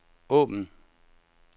åbn